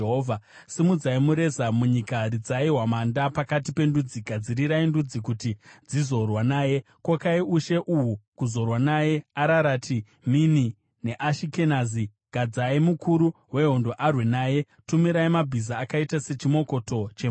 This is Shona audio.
“Simudzai mureza munyika! Ridzai hwamanda pakati pendudzi! Gadzirirai ndudzi kuti dzizorwa naye; kokai ushe uhu kuzorwa naye: Ararati, Mini neAshikenazi. Gadzai mukuru wehondo kuti arwe naye; tumirai mabhiza akaita sechimokoto chemhashu.